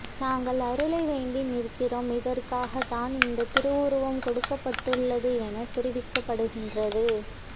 நாங்கள் அருளை வேண்டி நிற்கின்றோம் இதற்காக தான் இந்த திருவுருவம் கொடுக்கப்பட்டுள்ளது என தெரிவிக்கப்படுகின்றது